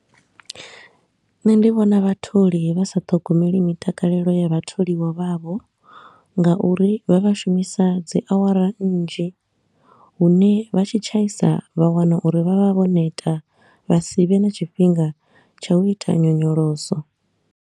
Nṋe ndi vhona vhatholi vha sa ṱhogomeli mitakalelo ya vha tholiwa vhavho nga uri vha vha shumisa dzi awara nnzhi hune vha tshi tshaisa vha wana uri vha vha vho neta vha si vhe na tshifhinga tsha u ita nyonyoloso.